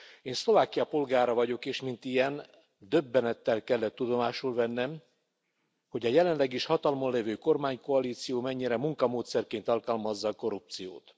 Én Szlovákia polgára vagyok, és mint ilyen, döbbenettel kellett tudomásul vennem, hogy a jelenleg is hatalmon lévő kormánykoalíció mennyire munkamódszerként alkalmazza korrupciót.